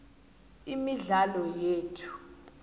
imidlalo yethu